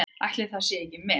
Ætli það sé ekki met?